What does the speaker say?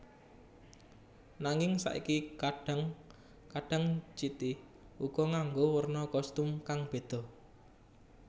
Nanging saiki kadhang kadhang City uga nganggo werna kostum kang beda